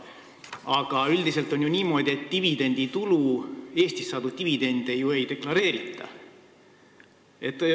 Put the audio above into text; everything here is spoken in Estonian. Aga üldiselt on ju niimoodi, et Eestis saadud dividende ei deklareerita.